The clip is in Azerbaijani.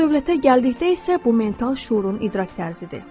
Var-dövlətə gəldikdə isə bu mental şüurun idrak tərzidir.